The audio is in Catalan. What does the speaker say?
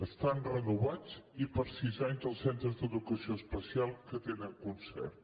estan renovats i per sis anys els centres d’educació especial que tenen concert